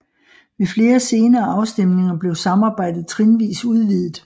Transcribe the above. Ved flere senere afstemninger blev samarbejdet trinvis udvidet